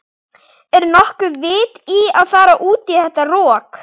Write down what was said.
Er nokkuð vit í að fara út í þetta rok?